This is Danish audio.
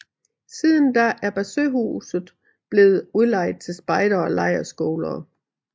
Siden da er Barsøhuset blevet udlejet til spejdere og lejerskoler